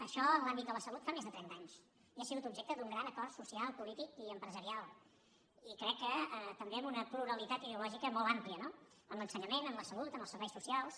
això en l’àmbit de la salut fa més de trenta anys i ha sigut objecte d’un gran acord social polític i empresarial i crec que també amb una pluralitat ideològica molt àmplia no en l’ensenyament en la salut en els serveis socials